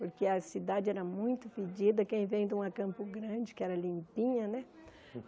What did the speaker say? Porque a cidade era muito fedida, quem vem de uma campo grande, que era limpinha, né?